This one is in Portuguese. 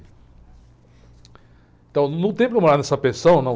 Então, não tem como eu morar nessa pensão, não.